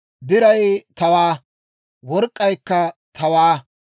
Biray tawaa; work'k'aykka tawaa.